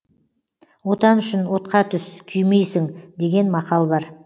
отан үшін отқа түс күймейсің деген мақал бар